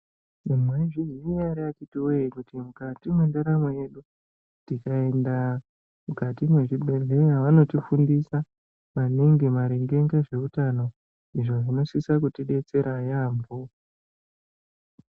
Mwaizviziya nhere akhiti woye kuti mukati mendaramo yedu, tkaenda mukati mechibhedhlera vanotifundisa maningi maringe nezveutano izvo zvinosise kutidetsera yaamho.